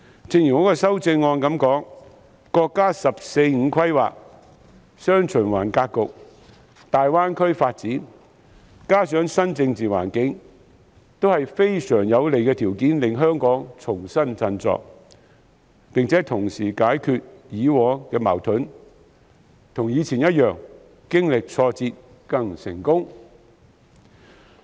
正如我在修正案指出，國家"十四五"規劃、"雙循環"格局、大灣區發展，加上新的政治環境，都是能令香港重新振作的極有利條件，並能同時解決以往的矛盾，讓香港跟以前一樣，經歷挫折後更成功。